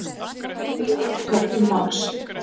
Sigurbjörn tók til máls.